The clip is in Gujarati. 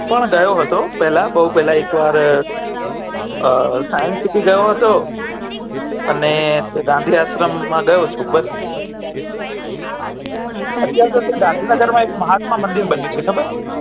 પણ હું ગયો હતો પેહલા બહુ પેહલા એક વાર science city ગયો હતો અને ગાંધી આશ્રમ માં ગયો હતો અત્યારે ગાંધી આશ્રમ માં એક મહાત્મા મંદિર બન્યો છે ખબર છે